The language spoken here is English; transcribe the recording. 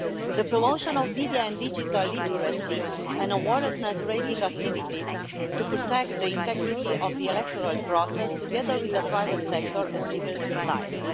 the promotion of media and digital literacy and awareness-raising activities to protect the integrity of the electoral process, together with the private sector and civil society